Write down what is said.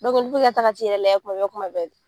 olu bɛ ka taga u yɛrɛ lajɛ kuma bɛɛ kuma bɛɛ de.